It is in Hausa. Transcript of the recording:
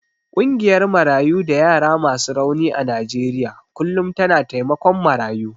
Ƙungiyar Marayu da yara masu rauni a Najeriya kullum tana taimakon marayu.